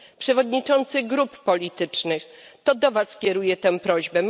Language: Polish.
Przewodniczący grup politycznych, to do Was kieruje tę prośbę.